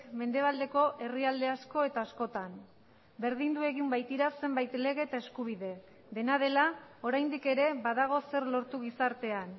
mendebaldeko herrialde asko eta askotan berdindu egin baitira zenbait lege eta eskubide dena dela oraindik ere badago zer lortu gizartean